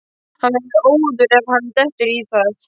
Hann verður óður ef hann dettur í það!